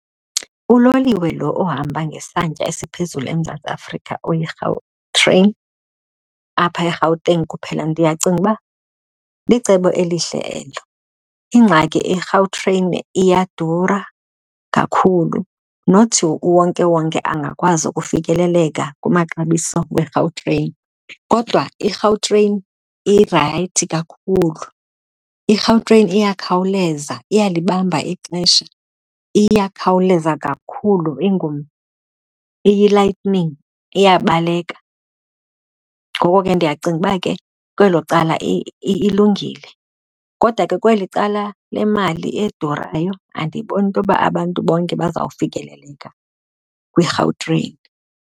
Uloliwe lo ohamba ngesantya esiphezulu eMzantsi Afrika oyiGautrain apha eGauteng kuphela ndiyacinga uba licebo elihle elo. Ingxaki iGautrain iyadura kakhulu, not uwonkewonke angakwazi ukufikeleleka kumaxabiso weGautrain. Kodwa iGautrain irayithi kakhulu. IGautrain iyakhawuleza, iyalibamba ixesha. Iyakhawuleza kakhulu iyi-lightning, iyabaleka, ngoko ke ndiyacinga uba ke kwelo cala ilungile. Kodwa ke kweli cala lemali edurayo, andiyiboni into yoba abantu bonke bazawufikeleleka kwiGautrain.